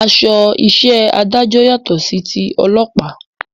Aṣọ iṣẹ́ adájọ́ yàtọ̀ sí ti ọlọ́pàá